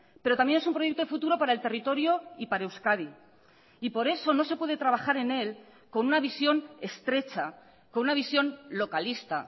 pero también es un proyecto de futuro para el territorio y para euskadi y por eso no se puede trabajar en él con una visión estrecha con una visión localista